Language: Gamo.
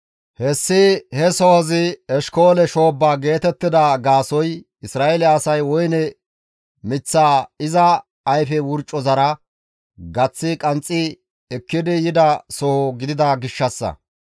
Hessi he sohozi, «Eshkoole shoobba» geetettida gaasoykka Isra7eele asay woyne miththaa iza ayfe wurcozara gaththi qanxxi ekkidi yidaso gidida gishshassa.